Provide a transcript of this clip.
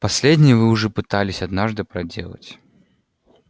последнее вы уже пытались однажды проделать